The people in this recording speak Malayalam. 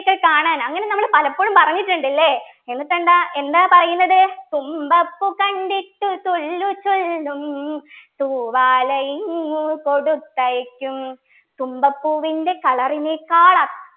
ഒക്കെ കാണാൻ അങ്ങനെ നമ്മൾ പലപ്പോഴും പറഞ്ഞിട്ടുണ്ട് ല്ലേ എന്നിട്ട് എന്താ എന്താ പറയുന്നത് തുമ്പപ്പൂ കണ്ടിട്ടു തൊല്ലുചൊല്ലും തൂവാലയിങ്ങു കൊടുത്തയയ്ക്കും തുമ്പപ്പൂവിൻ്റെ Color നേക്കാൾ